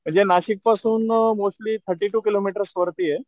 म्हणजे नाशिक पासून या uh mostly thirty two kilometre वरतीये.